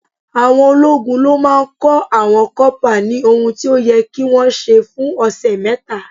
Àwọn ológun ló máa ń kọ́ àwọn kọ́pà ní ohun tí ó yẹ kí wọ́n ṣe fún ọ̀sẹ̀ mẹ́ta.